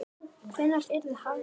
Hvenær yrði hafist handa?